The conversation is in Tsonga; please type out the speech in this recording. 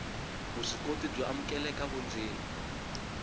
vuswikoti byo amukeleka vundzeni